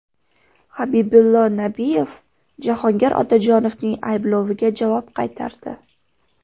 Habibullo Nabiyev Jahongir Otajonovning aybloviga javob qaytardi .